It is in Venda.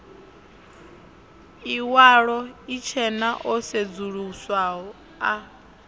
iwalo itshena o sedzuluswaho a